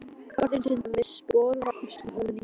Orðin synda með sporðaköstum ofan í djúpinu.